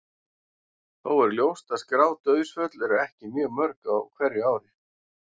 Þó er ljóst að skráð dauðsföll eru ekki mjög mörg á hverju ári.